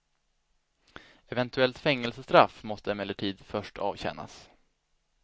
Eventuellt fängelsestraff måste emellertid först avtjänas.